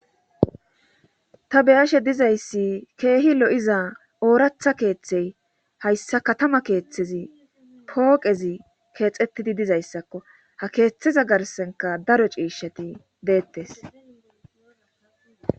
ta beyashe dizayssi keehi lo'iza ooratha keeththey hayssa katama keeththezi pooqezi keexettidi dizayssakko ha keeththeza garsenka daro ciishati deettes